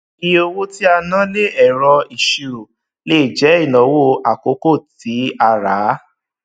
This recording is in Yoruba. iye owó tí a ná lé ẹrọ ìṣirò lè jẹ ìnáwó àkókò tí a rà á